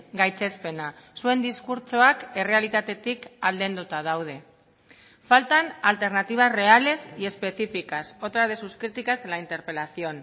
gaitzespena zuen diskurtsoak errealitatetik aldenduta daude faltan alternativas reales y específicas otra de sus críticas de la interpelación